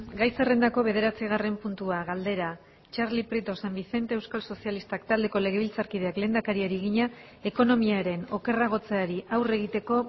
gai zerrendako bederatzigarren puntua galdera txarli prieto san vicente euskal sozialistak taldeko legebiltzarkideak lehendakariari egina ekonomiaren okerragotzeari aurre egiteko